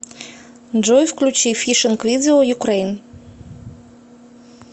джой включи фишинг видео юкрэйн